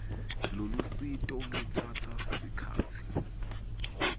lolusito lutsatsa sikhatsi